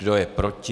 Kdo je proti?